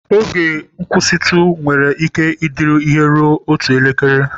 Oge nkwụsịtụ nwere ike ịdịru ihe ruru otu elekere.